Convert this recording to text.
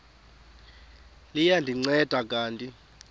liya ndinceda kanti